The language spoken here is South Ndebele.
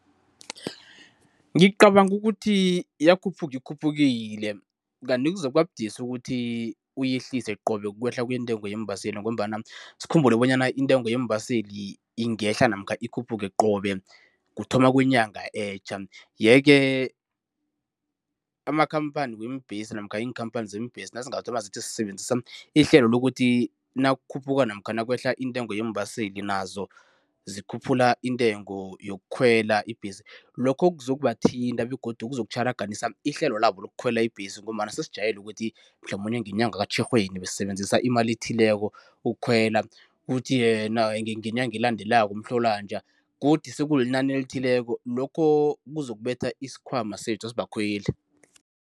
Ngicabanga ukuthi yakhuphuka ikhuphukile kanti kuzokuba budisi ukuthi uyehlise qobe ukwehla kwentengo yeembaseli ngombana sikhumbule bonyana intengo yeembaseli ingehla namkha ikhuphuke qobe kuthoma kwenyanga etjha. Yeke, amakhamphani weembhesi namkha iinkhamphani zeembesi nazingathoma zithi zisebenzisa ihlelo lokuthi nakukhuphuka namkha nakwehla intengo yeembaseli nazo zikhuphula intengo yokukhwela ibhesi, lokho kuzobathinta begodu kuzotjharaganisa ihlelo labo lokukhwela ibhesi ngombana sesijayele ukuthi mhlamunye ngenyanga kaTjhirhweni basisebenzisa imali ethileko ukukhwela, kuthi ngenyanga elandelako kaMhlolanja godu sekuyinani elithileko, lokho kuzokubetha iskhwama sethu sibakhweli.